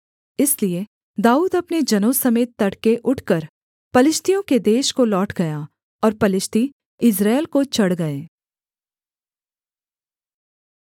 इसलिए दाऊद अपने जनों समेत तड़के उठकर पलिश्तियों के देश को लौट गया और पलिश्ती यिज्रेल को चढ़ गए